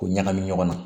K'o ɲagami ɲɔgɔn na